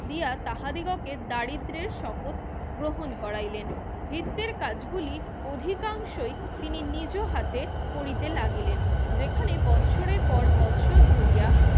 দিয়া তাহাদিগকে দারিদ্রের শপথ গ্রহণ করাইলেন ভিত্তির কাজগুলি অধিকাংশই তিনি নিজেও হাতে করিতে লাগিলেন যেখানে বৎসরের পর বৎসর ধরিয়া